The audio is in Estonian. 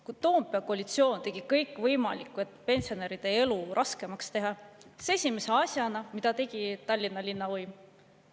Kui Toompea koalitsioon tegi kõik võimaliku, et pensionäride elu raskemaks teha, siis mida tegi esimese asjana Tallinna linnavõim?